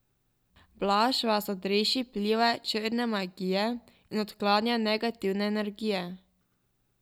Blaž vas odreši vpliva črne magije in odklanja negativne energije.